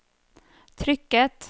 trykket